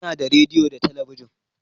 Ina da rediyo da talabijin